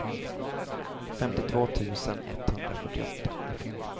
femtiotvå tusen etthundrafyrtioåtta